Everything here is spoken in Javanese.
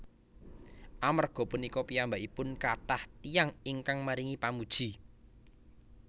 Amerga punika piyambakipun kathah tiyang ingkang maringi pamuji